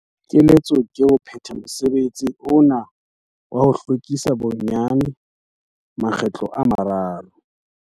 Keletso ke ho pheta mosebetsi ona wa ho hlwekisa bonyane makgetlo a mararo.